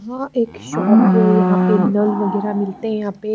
हां एक शॉप है यहां पे नल वगैरा मिलते हैं यहां पे--